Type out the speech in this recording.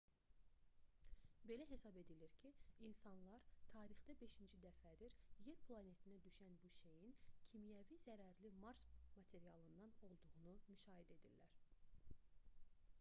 belə hesab edilir ki insanlar tarixdə beşinci dəfədir yer planetinə düşən bu şeyin kimyəvi zərərli mars materialından olduğunu müşahidə edirlər